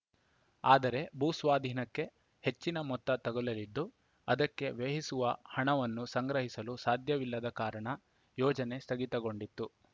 ಆದರೆ ಭೂಸ್ವಾಧೀನಕ್ಕೆ ಹೆಚ್ಚಿನ ಮೊತ್ತ ತಗುಲಿದ್ದು ಅದಕ್ಕೆ ವ್ಯಯಿಸುವ ಹಣವನ್ನು ಸಂಗ್ರಹಿಸಲು ಸಾಧ್ಯವಿಲ್ಲದ ಕಾರಣ ಯೋಜನೆ ಸ್ಥಗಿತಗೊಂಡಿತ್ತು